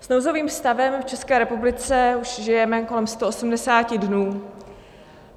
S nouzovým stavem v České republice už žijeme kolem 180 dnů.